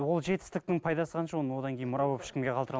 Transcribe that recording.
ол жетістіктің пайдасы қанша оның одан кейін мұра болып ешкімге қалдыра